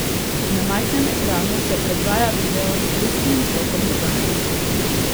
Na majhnem ekranu se predvaja video s pristnim zvokom dogajanja.